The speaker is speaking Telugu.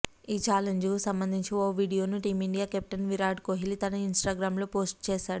ఈ చాలెంజ్కు సంబంధించి ఓ వీడియోను టీమిండియా కెప్టెన్ విరాట్ కోహ్లీ తన ఇనిస్టాగ్రామ్లో పోస్ట్ చేశాడు